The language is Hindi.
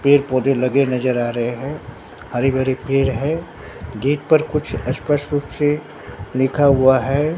पेड़ पौधे लगे नजर आ रहे हैं हरी भरी पेड़ है गेट पर कुछ स्पष्ट रूप से लिखा हुआ है।